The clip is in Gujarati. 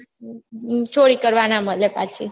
ચોરી કરવાં ના મલે પાછી